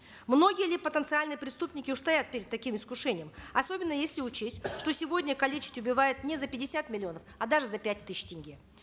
многие ли потенциальные преступники устоят перед таким искушением особенно если учесть что сегодня калечат и убивают не за пятьдесят миллионов а даже за пять тысяч тенге